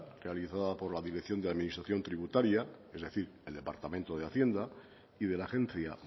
realizada por la dirección de administración tributaria es decir el departamento de hacienda y de la agencia